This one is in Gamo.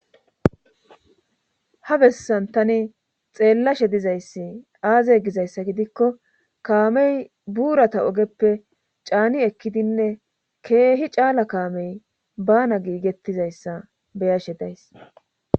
Ha bessan tani xeellashe dizayssi aaze gizayssa gidikko kaamey buurata ogeppe caani ekkidinne keehi caala kaamey bana giigettizayssa beyashe days.